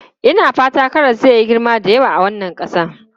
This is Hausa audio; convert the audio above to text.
Ina fata karas zai yi girma da kyau a wannan ƙasa.